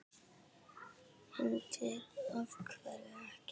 Hrund: Af hverju ekki?